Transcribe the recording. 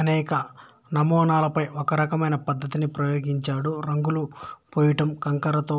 అనేక నమూనాలపై ఒకే రకమైన పద్ధతిని ప్రయోగించాడు రంగులు పూయడం కంకరతో